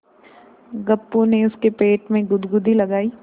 गप्पू ने उसके पेट में गुदगुदी लगायी